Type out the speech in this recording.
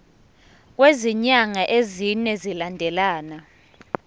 kwezinyanga ezine zilandelana